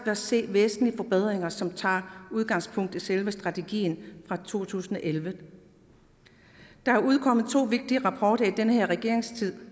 at se væsentlige forbedringer som tager udgangspunkt i selve strategien fra to tusind og elleve der er udkommet to vigtige rapporter i den her regerings tid